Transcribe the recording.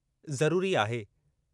ज़रूरी आहे।